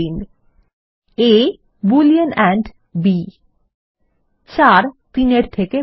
A boolean and b ৪ ৩ এর থেকে বড়